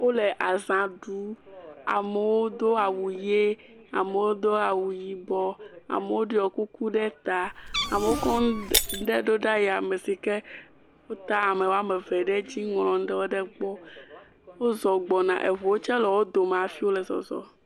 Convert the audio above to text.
wóle agbãɖu amewo dó awu yɛ amewo dó awu yibɔ amewo ɖiɔ kuku ɖe ta amewo kɔ ŋuɖe ɖó ɖe yame sike wó tá amewoameve ɖe ŋlɔ ŋuɖewo ɖe gbɔ wó zɔ gbɔna eʋuwo tsɛ le wó dome hafi wole zɔzɔm